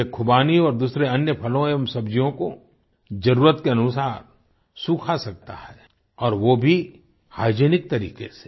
ये खुबानी और दूसरे अन्य फलों एवं सब्जियों को जरुरत के अनुसार सुखा सकता है और वो भी हाइजिनिक तरीक़े से